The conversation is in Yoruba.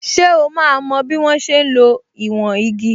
So máa mo bí wọ́n ṣe ń lo ìwọ̀n igi?